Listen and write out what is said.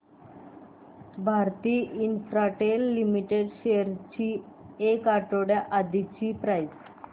Bharti Infratel limited shares ची एक आठवड्या आधीची प्राइस